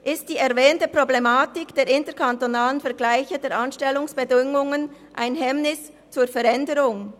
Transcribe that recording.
Ist die erwähnte Problematik der interkantonalen Vergleiche der Anstellungsbedingungen ein Hemmnis gegenüber der Veränderung?